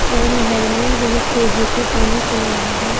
और नहर में बहुत तेजी से पानी चल रहा है।